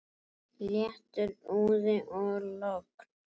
Léttur úði og logn.